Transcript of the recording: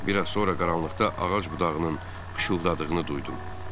Bir az sonra qaranlıqda ağac budağının xışıdadığını duydum.